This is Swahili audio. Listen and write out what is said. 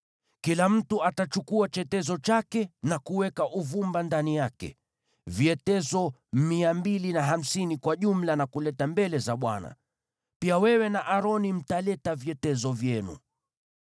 Kila mtu atachukua chetezo chake na kuweka uvumba ndani yake, vyetezo 250 kwa jumla, na kukileta mbele za Bwana . Wewe na Aroni mtaleta vyetezo vyenu pia.”